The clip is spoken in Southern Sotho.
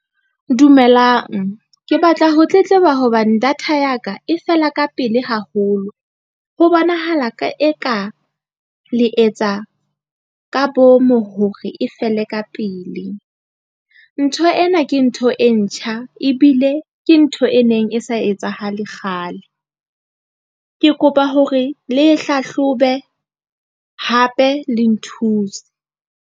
Dumelang ke batla ho tletleba hobane data ya ka e fela ka pele haholo. Ho bonahala ka e ka le etsa ka boomo hore e fele ka pele. Ntho ena ke ntho e ntjha ebile ke ntho e neng e sa etsahale kgale. Ke kopa hore le hlahlobe hape, le nthuse.